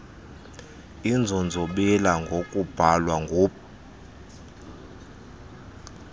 inzonzobila ngokubhalwa ngub